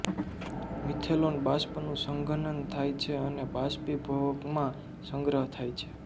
મિથેલોન બાષ્પનું સંઘનન થાય છે અને બાષ્પીભવકમાં સંગ્રહ થાય છે